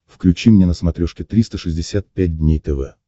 включи мне на смотрешке триста шестьдесят пять дней тв